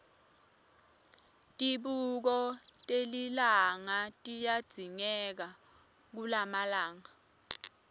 tibuko telilanga tiyadzingeka kulamalanga